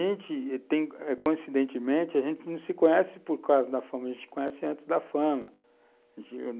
E, coincidentemente, a gente não se conhece por causa da fama, a gente se conhece antes da fama.